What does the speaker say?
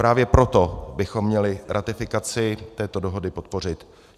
Právě proto bychom měli ratifikaci této dohody podpořit.